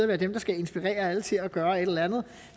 være dem der skal inspirere alle til at gøre et eller andet